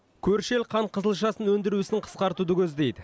көрші ел қант қызылшасын өндіру ісін қысқартуды көздейді